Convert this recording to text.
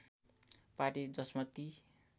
party जसमा ती